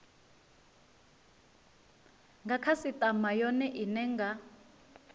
nga khasitama yone ine nga